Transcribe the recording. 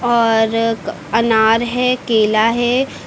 और अनार है केला है।